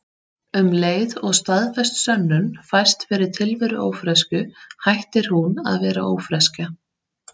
Um leið og staðfest sönnun fæst fyrir tilveru ófreskju hættir hún að vera ófreskja.